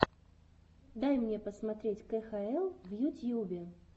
дай мне посмотреть кхл в ютьюбе